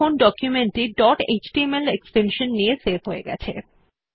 দেখুন ডকুমেন্ট টি dot HTML extension নিয়ে সেভ হয়ে গেছে